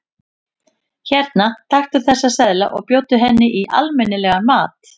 Hérna, taktu þessa seðla og bjóddu henni í almenni- legan mat.